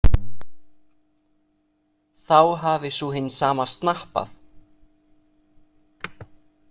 Þá hafi sú hin sama snappað?